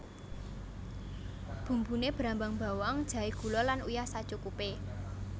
Bumbune brambang bawang jahe gula lan uyah sacukupe